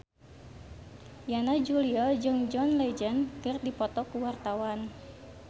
Yana Julio jeung John Legend keur dipoto ku wartawan